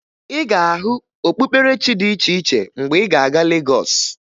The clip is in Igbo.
Ị ga-ahụ okpukperechi dị iche iche mgbe ị ga-aga Legọs